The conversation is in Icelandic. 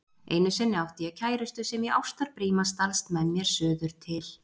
Einu sinni átti ég kærustu sem í ástarbríma stalst með mér suður til